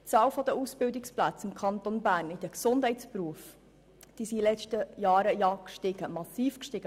Die Zahl der Ausbildungsplätze in den Gesundheitsberufen im Kanton Bern ist in den letzten Jahren massiv gestiegen.